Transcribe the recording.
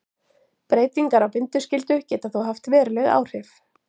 Breytingar á bindiskyldu geta þó haft veruleg áhrif.